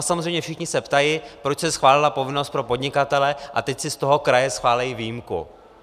A samozřejmě všichni se ptají, proč se schválila povinnost pro podnikatele a teď si z toho kraje schválí výjimku?